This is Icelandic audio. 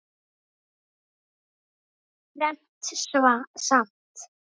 Fermt samt.